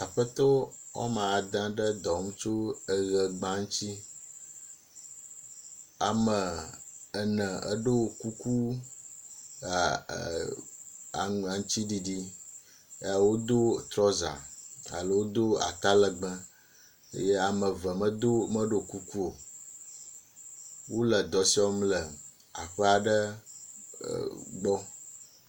Aƒetɔwo woame ade ɖe dɔ wɔm tso eʋegba ŋutsi. Ame ene eɖo kuku aa ee aŋutsiɖiɖi. Ewodo trouser alo wodo atalegbe eye ame eve meɖo kuku o. Wole dɔ srɔ̃m le aƒea ɖɖee gbɔ.